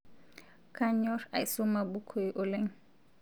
Kanyor aisoma bokoi oleng